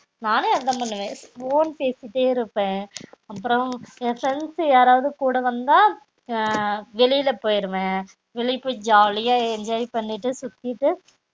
நானும் அதுதான் பண்ணுவ phone பேசிட்டே இருப்பன் அப்பறம் என் friends யாரவது கூட வந்த அஹ் வெளில போய்டுவன் வெளிய போய் ஜாலியா enjoy பண்ணிட்டு சுத்திட்டு